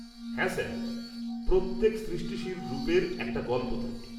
-হ্যাঁ স্যার। প্রত্যেক সৃষ্টিশীল রূপের একটা গল্প থাকে।